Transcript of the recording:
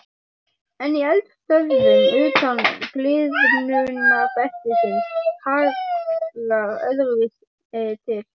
En í eldstöðvum utan gliðnunarbeltisins hagar öðruvísi til.